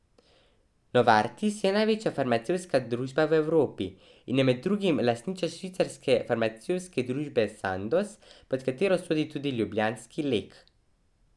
Novartis je največja farmacevtska družba v Evropi in je med drugim lastnica švicarske farmacevtske družbe Sandoz, pod katero sodi tudi ljubljanski Lek.